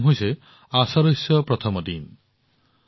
এই অনুষ্ঠানটোৰ নাম হৈছে আষাদশ্য প্ৰথম দিন